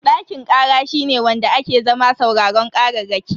Dakin kara shine wanda ake zama sauraron kararraki.